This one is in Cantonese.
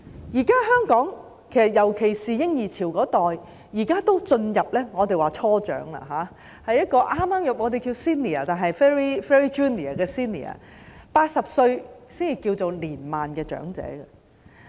現時香港，尤其是嬰兒潮一代已經進入我們所謂的"初長"，即是剛剛成為 senior ，但只是 very junior 的 senior ，80 歲才屬於年邁的長者。